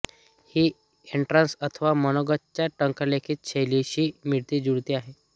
ही entrance अथवा मनोगतच्या टंकलेखन शैलीशी मिळती जुळती आहे